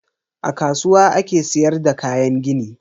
A kasuwa ake sayar da kayan gini.